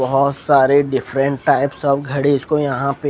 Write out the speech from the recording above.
बोहोत सारे different types of घड़ी को यहाँ पे--